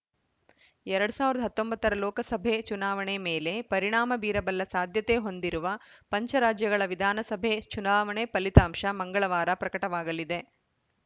ಎರಡ್ ಸಾವಿರದ ಹತ್ತೊಂಬತ್ತ ರ ಲೋಕಸಭೆ ಚುನಾವಣೆ ಮೇಲೆ ಪರಿಣಾಮ ಬೀರಬಲ್ಲ ಸಾಧ್ಯತೆ ಹೊಂದಿರುವ ಪಂಚರಾಜ್ಯಗಳ ವಿಧಾನಸಭೆ ಚುನಾವಣೆ ಫಲಿತಾಂಶ ಮಂಗಳವಾರ ಪ್ರಕಟವಾಗಲಿದೆ